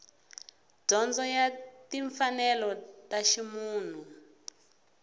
dyondzo ya timfanelo ta ximunhu